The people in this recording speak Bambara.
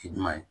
I duman ye